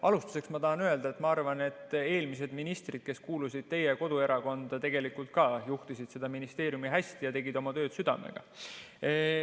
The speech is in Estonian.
Alustuseks ma tahan öelda, et ma arvan, et eelmised ministrid, kes kuulusid teie koduerakonda, tegelikult ka juhtisid seda ministeeriumi hästi ja tegid oma tööd südamega.